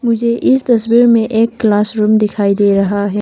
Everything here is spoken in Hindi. मुझे इस तस्वीर में एक क्लास रूम दिखाई दे रहा है।